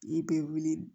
I bɛ wuli